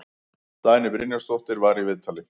Dagný Brynjarsdóttir var í viðtali.